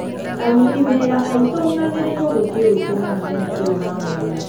Aruti wĩra aitũ magĩrĩirũo gũthiĩ gwĩkenia mũthenya ũyũ wa mwanya.